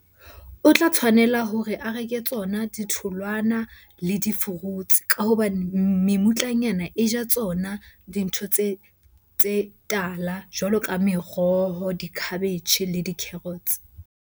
O tla tshwanela hore a reke tsona ditholwana le di-fruits ka hobane mutlanyana e ja tsona dintho tse tala jwalo ka meroho, dikhabetjhe le di-carrots.